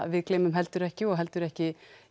við gleymum heldur ekki og heldur ekki